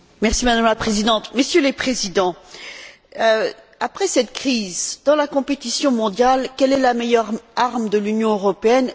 Madame la Présidente, Messieurs les Présidents, après cette crise, dans la compétition mondiale, quelle est la meilleure arme de l'Union européenne?